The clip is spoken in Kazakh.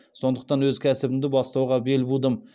сондықтан өз кәсібімді бастауға бел будым